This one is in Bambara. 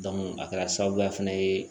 a kɛra sababuya fana ye